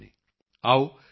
DG ਦੇ ਮਨ ਦੀ ਬਾਤ ਸੁਣਦੇ ਹਾਂ